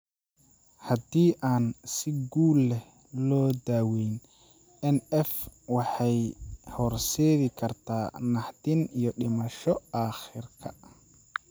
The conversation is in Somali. Haddii aan si guul leh loo daawayn, NF waxay u horseedi kartaa naxdin iyo dhimasho aakhirka.